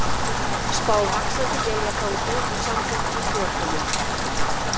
Spáð vaxandi éljagangi og samfelldri snjókomu